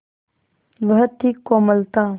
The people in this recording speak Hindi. वह थी कोमलता